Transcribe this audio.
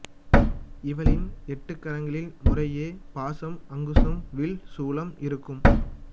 இவளின் எட்டுகரங்களில் முறையே பாசம் அங்குசம் வில் சூலம் இருக்கும்